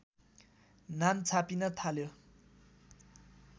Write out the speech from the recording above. नाम छापिन थाल्यो